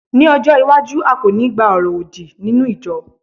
ní ọjọ iwaju, a ko ni gba oro odi ninu ijọ